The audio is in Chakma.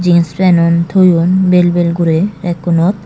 jinis penun toyon bel bel guri rekkunot.